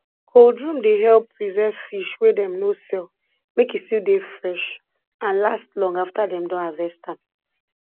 cold room dey help preserve fish wey dem no sell make e still dey fresh and last long after dem don harvest am